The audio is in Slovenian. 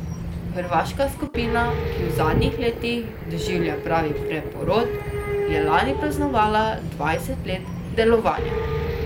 Hrvaška skupina, ki v zadnjih letih doživlja pravi preporod, je lani praznovala dvajset let delovanja.